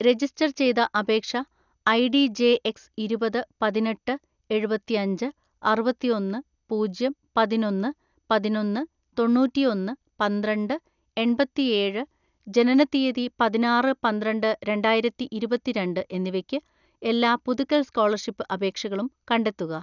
Register ചെയ്ത അപേക്ഷ ID J X ഇരുപത്‌ പതിനെട്ട് എഴുപത്തിഅഞ്ച് അറുപത്തിഒന്ന് പൂജ്യം പതിനൊന്ന്‌ പതിനൊന്ന്‌ തൊണ്ണൂറ്റിഒന്ന് പന്ത്രണ്ട് എണ്‍പത്തിഏഴ് , ജനനത്തീയതി പതിനാറ്‌ പന്ത്രണ്ട് രണ്ടായിരത്തിഇരുപത്തിരണ്ട്‍ എന്നിവയ്‌ക്ക്, എല്ലാ പുതുക്കൽ സ്‌കോളർഷിപ്പ് അപേക്ഷകളും കണ്ടെത്തുക.